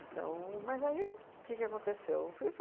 Então, mas aí o que que aconteceu? Fui